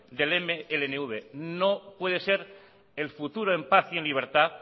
del mnlv no puede ser el futuro en paz y en libertad